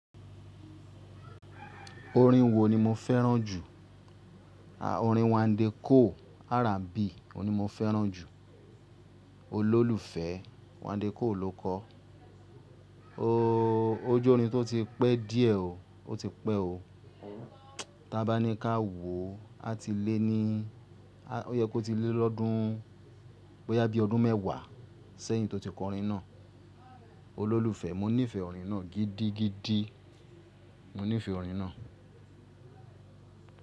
Orin wo ni mo fẹ́ràn jù? Orin Wandekoo R&B o ni mo fẹ́ràn jù. Olólùfẹ́ Wandekoo ló kọ. Oóóó ó jẹ́ orin tó ti pẹ́ díẹ̀ o. O ti pẹ́ o. Tí a bá ní ká wò ó ti lé ní í yẹ kó ti lé lọ́dún, bóyá bí ọdún mẹ́wàá sẹ́yìn tó ti kọ orin náà. Olólùfẹ́, mo nífẹ̀ẹ́ orin náà gidigidi. Mo ni fé orin náà.